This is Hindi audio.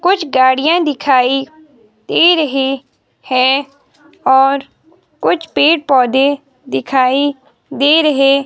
कुछ गाड़ियां दिखाई दे रहे है और कुछ पेड़ पौधे दिखाई दे रहे--